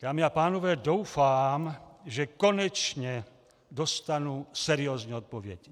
Dámy a pánové, doufám, že konečně dostanu seriózní odpověď.